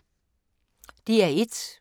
DR1